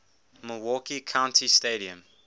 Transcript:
milwaukee county stadium